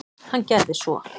Hann gerði svo.